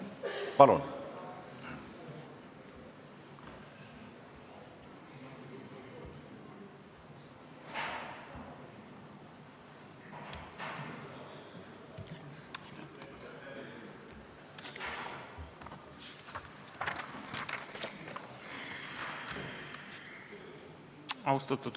Palun!